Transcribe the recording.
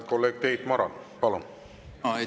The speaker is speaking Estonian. Kolleeg Tiit Maran, palun!